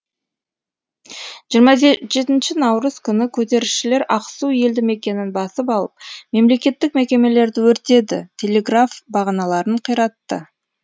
жиырма жетінші наурыз күні көтерілісшілер ақсу елді мекенін басып алып мемлекеттік мекемелерді өртеді телеграф бағаналарын қиратты